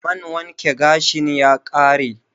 Man wanke gashin ya ƙare